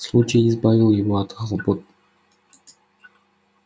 случай избавил его от хлопот